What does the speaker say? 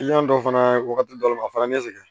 dɔ fana ye wagati dɔ le ye a fana ye ne sɛgɛn